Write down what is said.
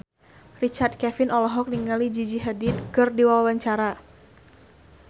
Richard Kevin olohok ningali Gigi Hadid keur diwawancara